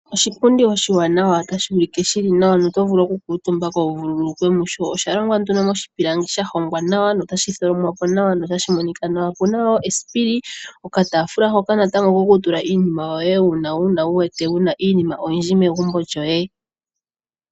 Oshipundi oshiwanawa notashi ulike shili nawa noto vulu okukutumbako wu vululukwe musho osha longwa moshipilangi sha hongwa nawa notashi tholomwapo nawa notashi monika nawa opu na wo esipili nokatafula hoka kokutula natango iinima yoye uuna wu wete wu na iinima oyindji megumbo lyoye.